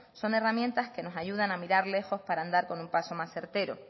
son herramientas que nos ayudan a mirar lejos para andar con un paso más certero